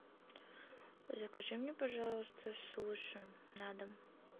закажи мне пожалуйста суши на дом